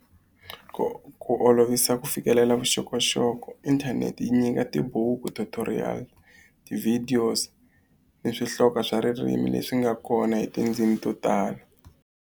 Ku ku olovisa ku fikelela vuxokoxoko inthanete yi nyika tibuku tutorial videos ni swihloka swa ririmi leswi nga kona hi tindzimi to tala.